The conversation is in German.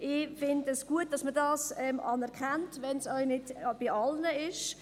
Ich finde es gut, dass man das anerkennt, auch wenn es nicht alle tun.